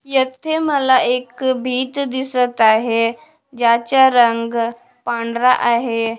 येथे मला एक बीच दिसत आहे ज्याचा रंग पांढरा आहे.